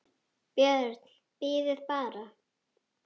BJÖRN: Bíðið bara!